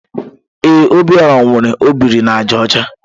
Ee, Obiora nwere ọ biri na àjà ọcha.